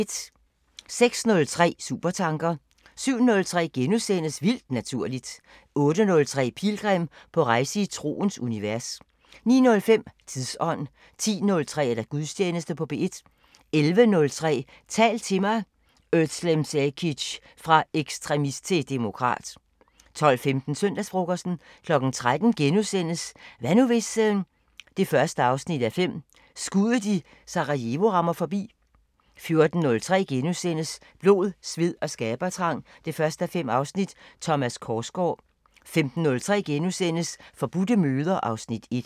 06:03: Supertanker 07:03: Vildt Naturligt * 08:03: Pilgrim – på rejse i troens univers 09:05: Tidsånd 10:03: Gudstjeneste på P1 11:03: Tal til mig – özlem Cekic: Fra ekstremist til demokrat 12:15: Søndagsfrokosten 13:03: Hvad nu hvis...? 1:5 – Skuddet i Sarajevo rammer forbi * 14:03: Blod, sved og skabertrang 1:5 – Thomas Korsgaard * 15:03: Forbudte møder (Afs. 1)*